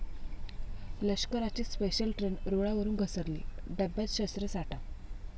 लष्कराची special train रूळावरून घसरली, डब्यात शस्त्रसाठा?